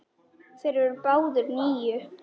Þeir eru báðir níu.